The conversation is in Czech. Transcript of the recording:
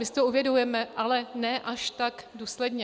My si to uvědomujeme, ale ne až tak důsledně.